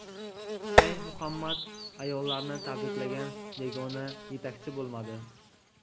Shayx Muhammad ayollarni tabriklagan yagona yetakchi bo‘lmadi.